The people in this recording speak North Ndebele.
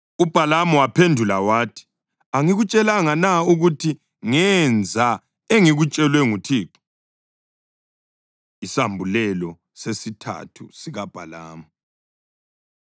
UBhalamu waphendula wathi, “Angikutshelanga na ukuthi ngenza engikutshelwe nguThixo?” Isambulelo Sesithathu SikaBhalamu